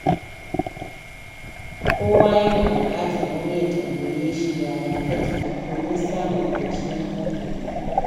Kowa yana buƙatar wani ya tambaye shi “Yaya kake?” domin samun kwanciyar hankali.